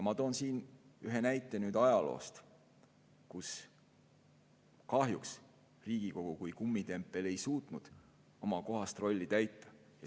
Ma toon ühe näite ajaloost, kui Riigikogu kui kummitempel ei suutnud kahjuks oma kohast rolli täita.